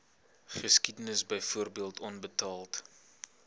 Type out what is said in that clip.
geskiedenis byvoorbeeld onbetaalde